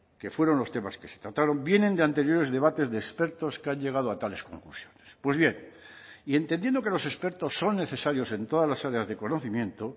que fueron los temas que se trataron vienen de anteriores debates de expertos que han llegado a tales conclusiones pues bien y entendiendo que los expertos son necesarios en todas las áreas de conocimiento